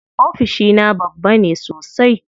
Ofishina babba ne sosai.